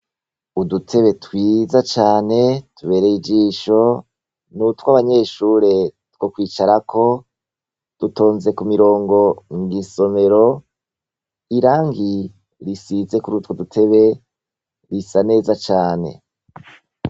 Udutebe twiza cane tubereye ijisho n'utw'abanyeshure two kwicarako, dutonze kubironka mw'isomero, irangi risize kurutwo dutebe risa neza cane.